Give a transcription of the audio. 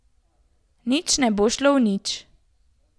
Nič ne bo šlo v nič.